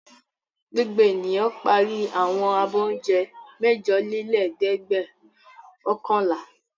Gbogbo ènìyàn parí àwọn abọ́ oúnjẹ mẹ́jọlélẹ́ẹ̀dẹ́gbẹ̀ọ̀kànlá.